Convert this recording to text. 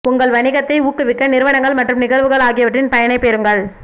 உங்கள் வணிகத்தை ஊக்குவிக்க நிறுவனங்கள் மற்றும் நிகழ்வுகள் ஆகியவற்றின் பயனைப் பெறுங்கள்